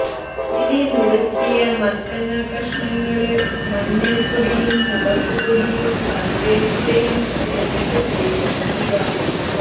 ഇനി നുറുക്കിയ മത്തങ്ങാ കഷണങ്ങള് മഞ്ഞള്പ്പൊടിയും മുളകുപൊടിയും കറിവേപ്പിലയും ചേര്ത്തു വേവിക്കുക